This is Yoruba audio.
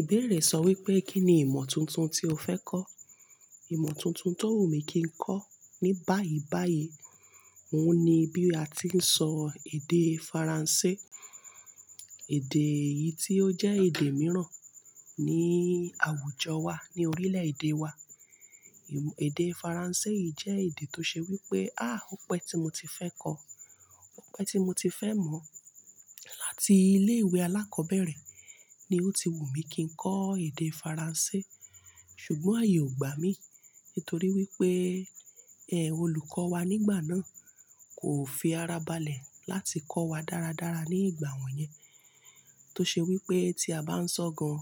Ìbéèrè sọ wípé kí ni ìmọ̀ tuntun tí o fẹ́ kọ́? Ìmọ̀ tuntun tó wù mí kí ń kọ́ ní báyìí báyìí, òun ni bí a ti ń sọ èdè Faransé. Èdè yìí tí ó jẹ́ èdè mìíràn ní àwùjọ wa, ní orílẹ̀-èdè wa. Ìmọ̀-- èdè Faransé yìí jẹ́ èdè tó ṣe wípé, á, òun pẹ́ tí mo ti fẹ́ kọ́. Óun pẹ́ tí mo ti fẹ́ mọ̀. Láti ilé ìwé alákọ̀ọ́bẹ̀rẹ̀ ni ó ti wù mí kí ń kọ́ èdè Faransé. Ṣùgbọ́n àyè ò gbá mi, nítorí wípé, ẹ́, olùkọ́ wa nígbà náà kò fi ara balẹ̀ láti kọ́ wa dáradára ní ìgbà wọ́n yẹn. Tó ṣe wípé tí a bá ń sọ gan,